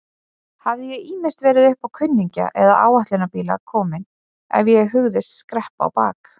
Hafði ég ýmist verið uppá kunningja eða áætlunarbíla kominn ef ég hugðist skreppa á bak.